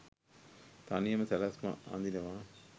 තනියම සැලැස්ම අඳිනවා